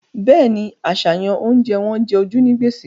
Bẹ́ẹ̀ni, àṣàyàn oúnjẹ wọn jẹ ojú ní gbèsè